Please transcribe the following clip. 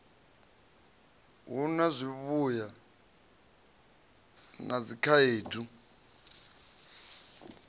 hu na zwivhuya na dzikhaedu